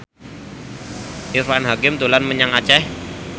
Irfan Hakim dolan menyang Aceh